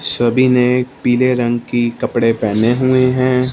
सभी ने पीले रंग की कपड़े पहने हुए हैं।